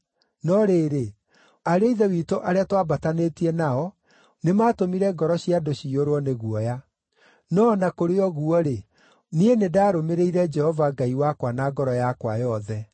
no rĩrĩ, ariũ a ithe witũ arĩa twaambatanĩtie nao nĩmatũmire ngoro cia andũ ciyũrwo nĩ guoya. No o na kũrĩ ũguo-rĩ, niĩ nĩ ndarũmĩrĩire Jehova Ngai wakwa na ngoro yakwa yothe.